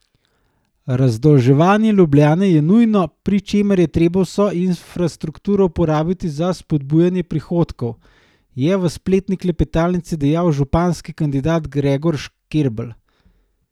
Razdolževanje Ljubljane je nujno, pri čemer je treba vso infrastrukturo uporabiti za spodbujanje prihodkov, je v spletni klepetalnici dejal županski kandidat Gregor Škerl.